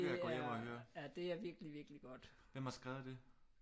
Det vil jeg gå hjem og høre hvem har skrevet det